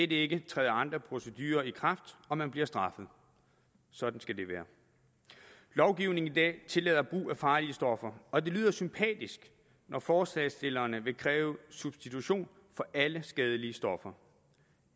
det ikke træder andre procedurer i kraft og man bliver straffet sådan skal det være lovgivningen i dag tillader brug af farlige stoffer og det lyder sympatisk når forslagsstillerne vil kræve substitution for alle skadelige stoffer